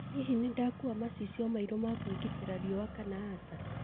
Hihi nĩ ndĩrĩkuua macicio mairu ma kwigitira riũa kana aca